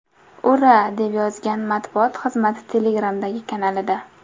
Ura”, deb yozgan matbuot xizmati Telegram’dagi kanalida.